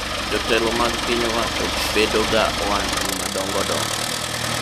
jotelo mag piny wacho bedo ga ohandni madongo dongo